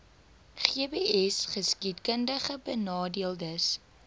gbsgeskiedkundigbenadeeldes